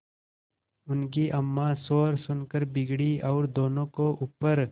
उनकी अम्मां शोर सुनकर बिगड़ी और दोनों को ऊपर